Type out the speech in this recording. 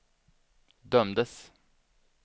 dömdes